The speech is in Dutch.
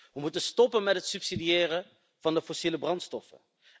We moeten stoppen met het subsidiëren van de fossiele brandstoffen.